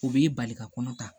U b'i bali ka kɔnɔ ta